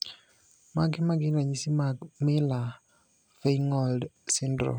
Mage magin ranyisi mag Miller Feingold syndrome?